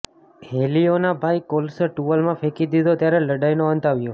હેલિયોના ભાઈ કાર્લોસે ટુવાલમાં ફેંકી દીધો ત્યારે લડાઈનો અંત આવ્યો